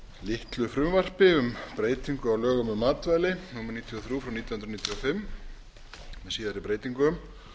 litlu frumvarpi um breytingu á lögum um matvæli númer níutíu og þrjú nítján hundruð níutíu og fimm með síðari breytingum